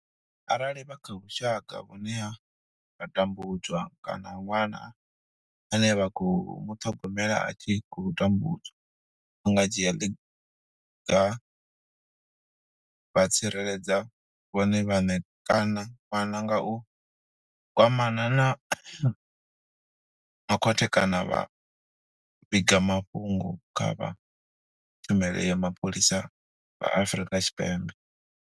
Arali vha kha vhusha ka vhune vha tambudzwa kana ṅwana ane vha khou muṱhogomela a tshi khou tambudzwa, vha nga dzhia ḽiga vha tsireledza vhone vhaṋe kana ṅwana nga u kwamana na vha khothe kana vha vhiga mafhungo kha vha Tshumelo ya Mapholisa vha Afrika Tshipembe.